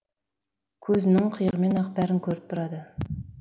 көзінің қиығымен ақ бәрін көріп тұрады